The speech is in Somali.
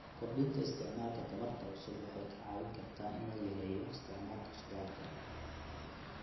Kordhinta isticmaalka tamarta cusub waxay ka caawin kartaa in la yareeyo isticmaalka shidaalka.